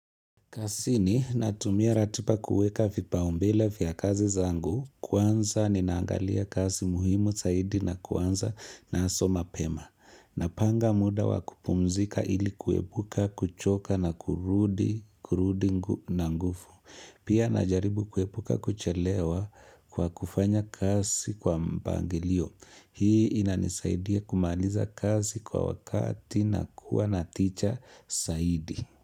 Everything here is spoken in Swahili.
Kazini natumia ratiba kuweka vipaumbele vya kazi zangu, kwanza ni naangalia kazi muhimu zaidi na kwanza nazo mapema. Napanga muda wakupumzika ili kuwepuka, kuchoka na kurudi, kurudi ngu na nguvu. Pia najaribu kuepuka kuchelewa kwa kufanya kazi kwa mpangilio. Hii inanisaidia kumaaliza kazi kwa wakati na kuwa naticha zaidi.